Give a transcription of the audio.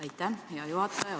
Aitäh, hea juhataja!